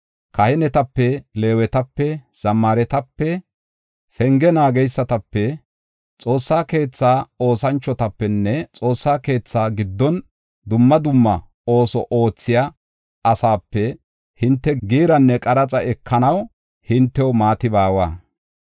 Kahinetape, Leewetape, zammaaretape penge naageysatape, Xoossa keetha oosanchotapenne Xoossaa keetha giddon dumma dumma ooso oothiya asaape hinte giiranne qaraxa ekanaw hintew maati baawa.